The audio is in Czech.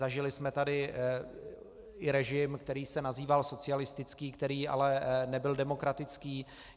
Zažili jsme tady i režim, který se nazýval socialistický, který ale nebyl demokratický.